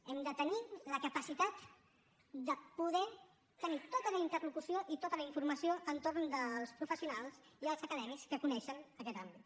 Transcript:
hem de tenir la capacitat de poder tenir tota la interlocució i tota la informació entorn dels professionals i els acadèmics que coneixen aquest àmbit